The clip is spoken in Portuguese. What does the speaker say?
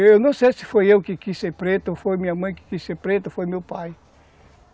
Eu não sei se foi eu que quis ser preto, ou foi minha mãe que quis ser preta, ou foi meu pai.